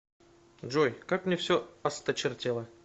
джой как мне все осточертело